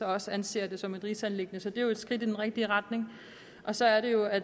også anser det som et rigsanliggende så det er jo et skridt i den rigtige retning så er det jo at